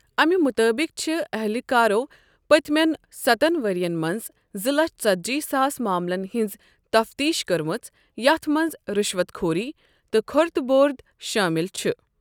اَمہِ مُطٲبِق چھِ اَہلکارو پٔتۍمٮ۪ن سَتن ؤرۍین منز زٕ لچھ ژتجی ساس معاملن ہِنٛز تفتیٖش کٔرمٕژ یَتھ منٛز رُشوَت خوری تہٕ كھورد بورد شٲمِل چھِ ۔